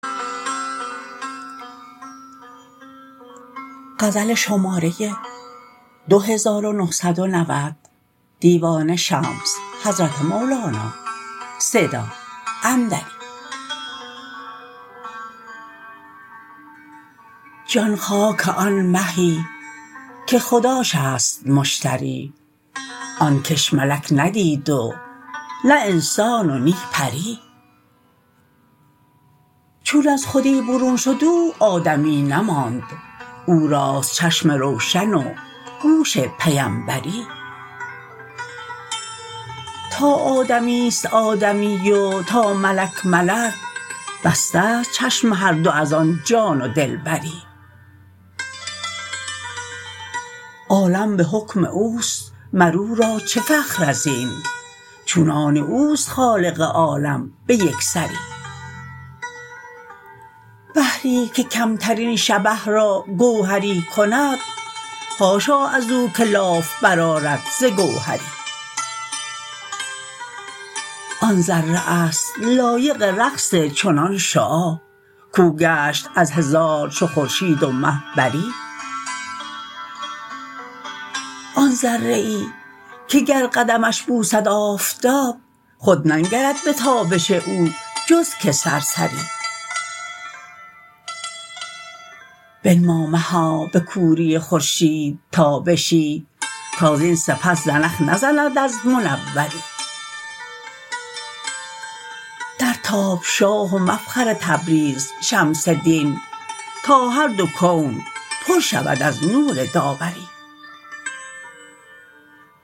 جان خاک آن مهی که خداش است مشتری آن کس ملک ندید و نه انسان و نی پری چون از خودی برون شد او آدمی نماند او راست چشم روشن و گوش پیمبری تا آدمی است آدمی و تا ملک ملک بسته ست چشم هر دو از آن جان و دلبری عالم به حکم او است مر او را چه فخر از این چون آن او است خالق عالم به یک سری بحری که کمترین شبه را گوهری کند حاشا از او که لاف برآرد ز گوهری آن ذره است لایق رقص چنان شعاع کو گشت از هزار چو خورشید و مه بری آن ذره ای که گر قدمش بوسد آفتاب خود ننگرد به تابش او جز که سرسری بنما مها به کوری خورشید تابشی تا زین سپس زنخ نزند از منوری درتاب شاه و مفخر تبریز شمس دین تا هر دو کون پر شود از نور داوری